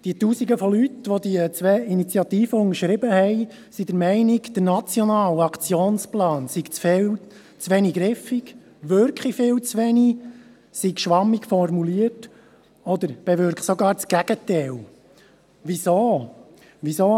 Die Tausenden von Leuten, welche die beiden Initiativen unterschrieben haben, sind der Meinung, der Nationale Aktionsplan sei zu wenig griffig, wirke viel zu wenig, sei schwammig formuliert oder bewirke sogar das Gegenteil.